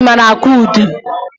Ị maara akụ udu?